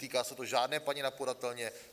Netýká se to žádné paní na podatelně.